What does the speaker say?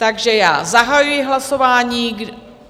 Takže já zahajuji hlasování.